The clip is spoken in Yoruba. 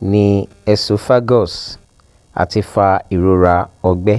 ni esophagus ati fa irora ọgbẹ